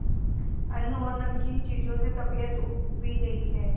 अन्न और नमकीन चीजों से तबीयत ऊब भी गई है